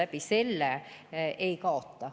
Keegi sellega ei kaota.